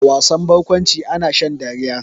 A wasan barkwanci ana shan dariya.